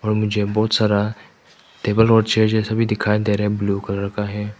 और मुझे बहुत सारा टेबल और चेयर जैसा भी दिखाई दे रहा है ब्लू कलर का है।